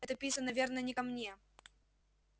это писано верно не ко мне